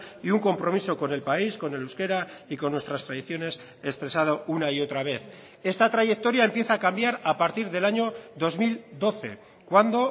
y un compromiso con el país con el euskera y con nuestras tradiciones expresado una y otra vez esta trayectoria empieza a cambiar a partir del año dos mil doce cuando